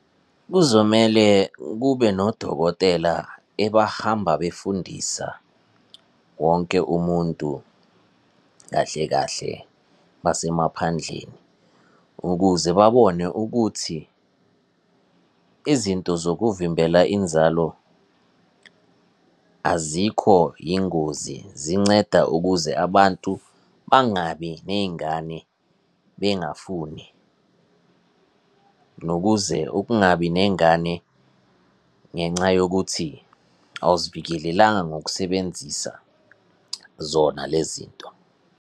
Kuzomele kube nodokotela ebahamba befundisa wonke umuntu kahle kahle basemaphandleni, ukuze babone ukuthi izinto zokuvimbela inzalo azikho yingozi, zinceda ukuze abantu bangabi ney'ngane bengafuni. Nokuze ukungabi nengane ngenxa yokuthi awuzivikelelanga ngokusebenzisa zona lezi zinto.